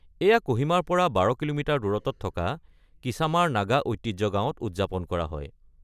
এইয়া ক'হিমাৰ পৰা ১২ কি.মি. দূৰত্বত থকা কিচামাৰ নাগা ঐতিহ্য গাঁৱত উদযাপন কৰা হয়।